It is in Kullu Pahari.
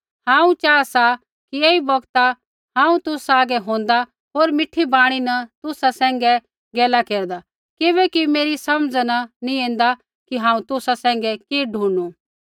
हांऊँ चाहा सा कि ऐई बौगतै हांऊँ तुसा हागै होंदा होर मीठी वाणी न तुसा सैंघै गैला केरदा किबैकि मेरी समझा न नैंई ऐन्दा कि हांऊँ तुसा सैंघै कि ढूणनु